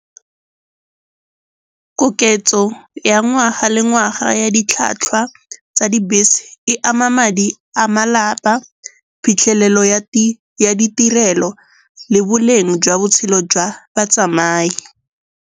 Koketso ya ngwaga le ngwaga ya ditlhwatlhwa tsa dibese e ama madi a malapa, phitlhelelo ya ditirelo le boleng jwa botshelo jwa batsamai.